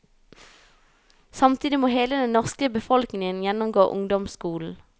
Samtidig må hele den norske befolkning gjennomgå ungdomsskolen.